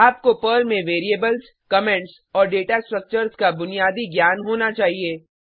आपको पर्ल में variables comments और डेटा स्ट्रक्चर्स का बुनियादी ज्ञान होना चाहिए